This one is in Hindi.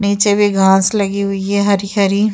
नीचे भी घाँस लगी हूई है हरी-हरी।